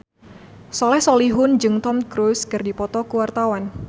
Soleh Solihun jeung Tom Cruise keur dipoto ku wartawan